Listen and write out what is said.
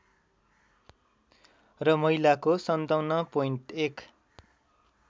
र महिलाको ५७.१